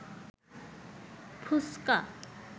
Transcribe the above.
ফুসকা